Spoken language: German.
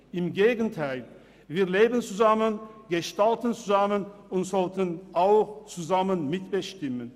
Im Gegenteil: Wir leben zusammen, gestalten zusammen und sollten auch zusammen mitbestimmen.